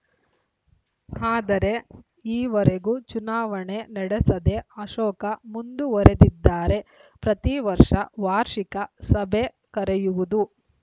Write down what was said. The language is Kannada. ಆದರೆ ಈವರೆಗೂ ಚುನಾವಣೆ ನಡೆಸದೇ ಅಶೋಕ ಮುಂದುವರಿದಿದ್ದಾರೆ ಪ್ರತಿ ವರ್ಷ ವಾರ್ಷಿಕ ಸಭೆ ಕರೆಯುವುದು